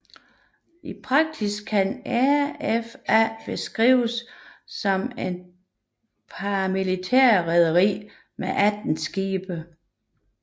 I praksis kan RFA beskrives som et paramilitært rederi med 18 skibe